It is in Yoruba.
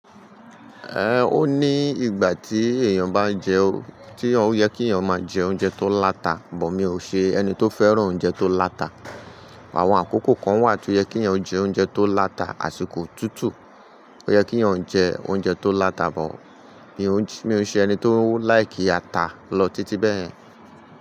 Ẹ̀ ó ní ìgbà tí èèyàn bá jẹ́ o, tí ó yẹ kí èèyàn máa jẹ oúnjẹ tó láta, bọ̀ mi ò ṣe ẹni tó fẹ́ràn oúnjẹ tó láta. Àwọn àkókò kan wà tí ó yẹ kí èèyàn jẹ oúnjẹ tó láta, àsìkò otútù ó yẹ kí èèyàn jẹ oúnjẹ tó láta bọ̀ mi ò ṣe ẹni tó láìkì ata lọ títí bẹ́ẹ̀yen.